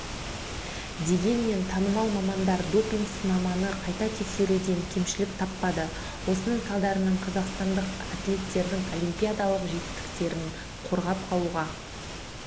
дегенмен танымал мамандар допинг-сынаманы қайта тексеруден кемшілік таппады осының салдарынан қазақстандық атлеттердің олимпиадалық жетістіктерін қорғап қалуға